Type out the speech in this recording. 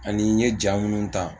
Ani n ye ja minnu ta